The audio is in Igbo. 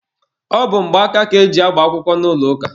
Ọ bụ mgbaaka ka e ji agbamakwụkwọ n'ụlọ ụka.